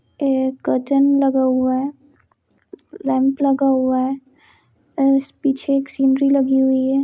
एक कर्टेन लगा हुआ है लैम्प लगा हुआ है और पीछे एक सीनरी लगी हुई है।